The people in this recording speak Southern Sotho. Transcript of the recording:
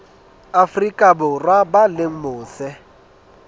afrika borwa ba leng mose